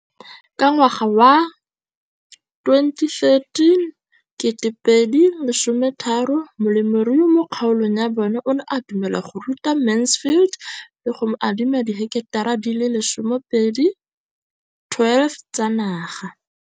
Ka ngwaga wa 2013, molemirui mo kgaolong ya bona o ne a dumela go ruta Mansfield le go mo adima di heketara di le 12 tsa naga.